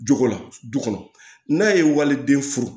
Jogo la du kɔnɔ n'a ye waliden furu